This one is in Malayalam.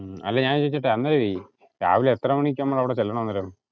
അല്ല ഞാൻ ചോദിക്കട്ടെ അന്നേരവേ രാവിലെ എത്ര മണിക്ക് നമ്മൾ അവിടെ ചെല്ലണം അന്നേരം?